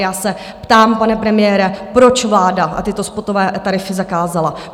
Já se ptám, pane premiére, proč vláda tyto spotové tarify zakázala?